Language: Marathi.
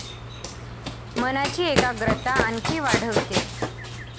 मनाची एकग्रता आणखी वाढविते.